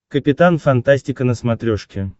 капитан фантастика на смотрешке